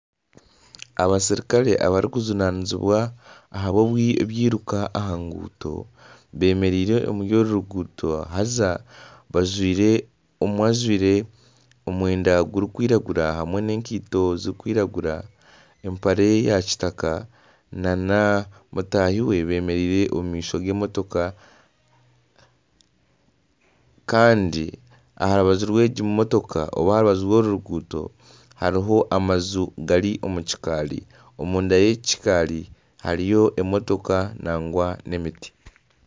Abaserukare abarikujunanizibwa aha byiruka aha nguuto, beemereire omuri oru ruguuto haza omwe ajwire omwenda gurikwiragura hamwe n'eikaito zirikwiragura, empare yakitaka na mugyenzi we beemereire omu maisho g'emotoka kandi aha rubanju rw'egi mutooka nari aha rubaju rw'oru ruguuto hariho amaju gari omu kikaari, omunda y'eki kakari hariyo emotoka nagwa n'emiti